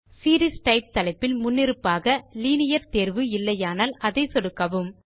series type தலைப்பில் முன்னிருப்பாக linear தேர்வு இல்லையானால் அதை சொடுக்கவும்